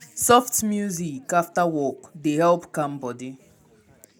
soft music after work dey help calm body.